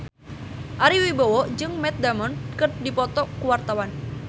Ari Wibowo jeung Matt Damon keur dipoto ku wartawan